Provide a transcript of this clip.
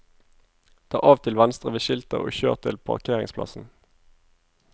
Ta av til venstre ved skiltet og kjør til parkeringsplassen.